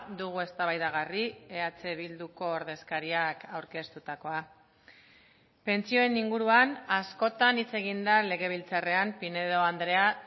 dugu eztabaidagarri eh bilduko ordezkariak aurkeztutakoa pentsioen inguruan askotan hitz egin da legebiltzarrean pinedo andrea